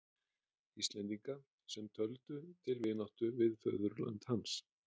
Íslendinga, sem töldu til vináttu við föðurland hans.